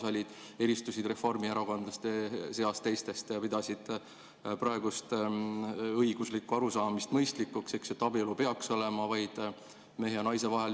Sa eristusid reformierakondlaste seas teistest, pidasid mõistlikuks praegust õiguslikku arusaama, et abielu peaks olema vaid mehe ja naise vahel.